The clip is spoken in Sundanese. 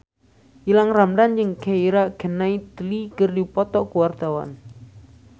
Gilang Ramadan jeung Keira Knightley keur dipoto ku wartawan